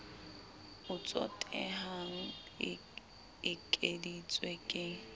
o tsotehang e ekeditswe ke